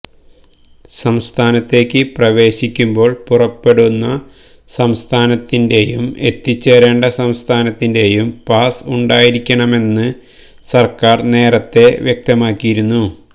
സംസ്ഥാനത്തേക്ക് പ്രവേശിക്കുമ്പോൾ പുറപ്പെടുന്ന സംസ്ഥാനത്തിന്റേയും എത്തിച്ചേരണ്ട സംസ്ഥാനത്തിന്റേയും പാസ് ഉണ്ടായിരിക്കണമെന്ന് സർക്കാർ നേരത്തെ വ്യക്തമാക്കിയിരുന്നു